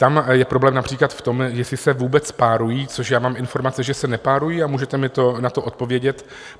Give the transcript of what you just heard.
Tam je problém například v tom, jestli se vůbec párují - což já mám informace, že se nepárují - a můžete mi na to odpovědět?